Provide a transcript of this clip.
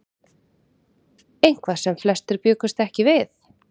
Eitthvað sem flestir bjuggust ekki við